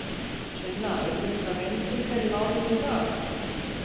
Sunna, urðu einhverjar vendingar í málinu í dag?